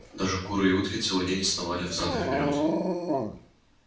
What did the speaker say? даже куры и утки целый день сновали взад и вперёд